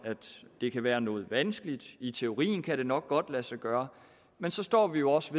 det kan være noget vanskeligt i teorien kan det nok godt lade sig gøre men så står vi jo også